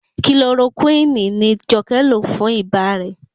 Kilorokúínì ni Jọkẹ́ lò fún ibà rẹ̀.